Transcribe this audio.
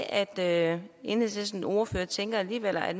at enhedslisten delelement og jeg tænker at